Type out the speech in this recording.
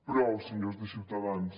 prou senyors de ciutadans